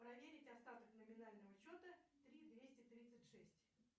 проверить остаток номинального счета три двести тридцать шесть